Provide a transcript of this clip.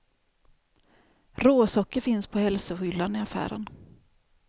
Råsocker finns på hälsohyllan i affären.